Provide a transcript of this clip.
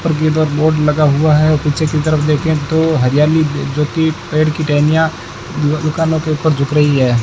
उपर की तरफ बोर्ड लगा हुआ है पीछे की तरफ देखें तो हरियाली जोकि पेड़ की टहनियां दुकानों के ऊपर झुक रही है।